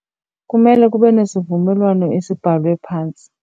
Kumele kube nesivumelwano esibhalwe phantsi.